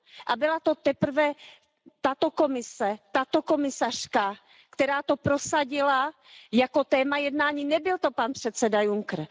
A byla to teprve tato Evropská komise, tato komisařka, která to prosadila jako téma jednání, nebyl to pan předseda Juncker.